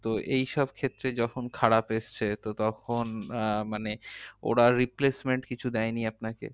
তো এইসব ক্ষেত্রে যখন খারাপ এসেছে তো তখন আহ মানে ওরা replacement কিছু দেয়নি আপনাকে?